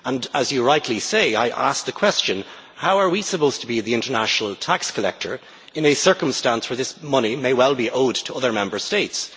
As you rightly say, I asked the question how are we supposed to be the international tax collector in a circumstance where this money may well be owed to other Member States?